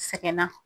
Sɛgɛnna